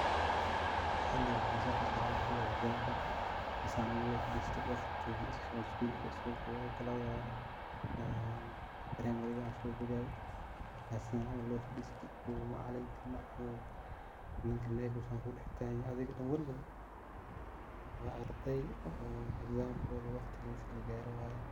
Hiliga waxan so xasusanaya ,hiliga examka oo saan loo faristo . Primariga aan so bogaye oo san camal loo faristo oo macalinka ama ninka Knecga uu san kudax tagan yahay adhiga dan walwal . Waa arday oo examkoda waqtigisa lagare waye oo.